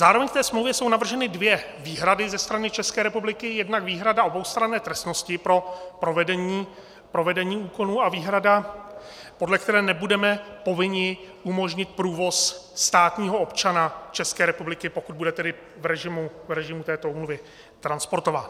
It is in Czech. Zároveň k té smlouvě jsou navrženy dvě výhrady ze strany České republiky, jednak výhrada oboustranné trestnosti pro provedení úkonů a výhrada, podle které nebudeme povinni umožnit průvoz státního občana České republiky, pokud bude tedy v režimu této úmluvy transportován.